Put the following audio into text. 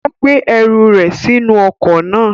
Ó gbé ẹrù rẹ̀ sínú ọkọ̀ náà.